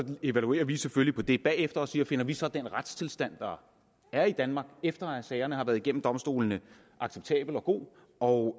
evaluerer vi det selvfølgelig bagefter og siger finder vi så den retstilstand der er i danmark efter at sagerne har været igennem domstolene acceptabel og god og